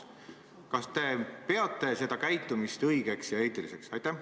Kas te peate seda käitumist õigeks ja eetiliseks?